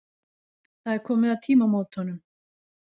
Það er komið að tímamótunum.